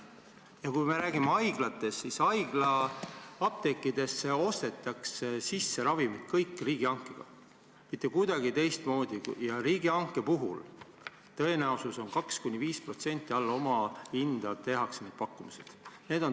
Ja kui me räägime haiglatest, siis haiglate apteekidesse ostetakse ravimid riigihanke kaudu, mitte kuidagi teistmoodi, ja riigihanke puhul on tõenäosus, et 2–5% alla omahinna tehakse pakkumised.